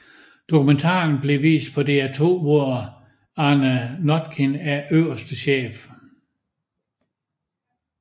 Dokumentaren blev vist på DR2 hvor Arne Notkin er øverste chef